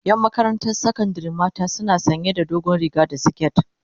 yan Makaranta sakandari mata suna sanya da dogon riga da siket